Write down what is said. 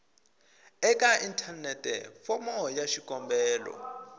eka inthanete fomo ya xikombelo